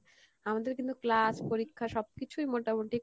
আমাদের কিন্তু class পরীক্ষা সবকিছুই মোটামোটি